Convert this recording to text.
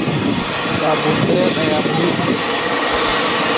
Saabuun dhireed ayaa diyaar ah.